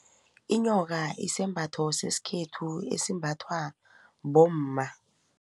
Inyoka isembatho sesikhethu esimbathwa bomma.